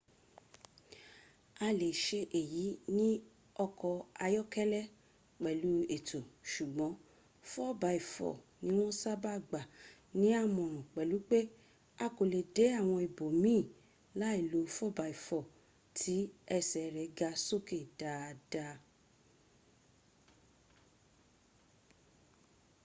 a le se eyi ni oko ayokele pelu eto sugbon 4x4 ni won saba gba ni amoran pelu pe a ko le de awon ibo miin lai lo 4x4 ti ese re ga soke daada